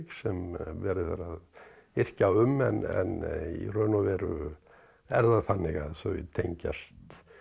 sem verið er að yrkja um en í raun og veru er það þannig að þau tengjast